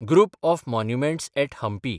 group of monuments at Hampi